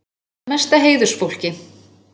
Jafnan mesta heiðursfólki.